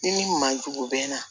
Ni min man jugu bɛ na